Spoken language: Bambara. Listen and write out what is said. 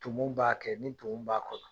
Tumu b'a kɛ, ni tumu b'a kɔnɔ